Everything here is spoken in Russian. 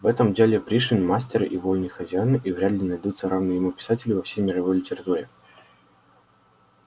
в этом деле пришвин мастер и вольный хозяин и вряд ли найдутся равные ему писатели во всей мировой литературе